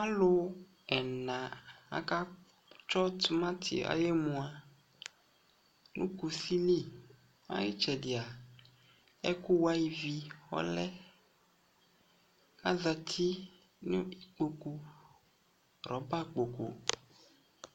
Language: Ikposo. Alu ɛna akatsɔ timati ayu emʊ kʊsɩli itsɛdi ɛkʊwa ivi ɔlɛ azati nu ikpokʊ rɔba kpokʊ